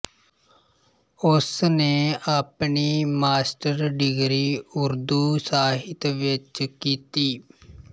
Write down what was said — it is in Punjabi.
ਉਸਨੇ ਆਪਣੀ ਮਾਸਟਰ ਡਿਗਰੀ ਉਰਦੂ ਸਾਹਿਤ ਵਿੱਚ ਕੀਤੀ